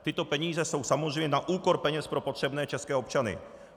Tyto peníze jsou samozřejmě na úkor peněz pro potřebné české občany.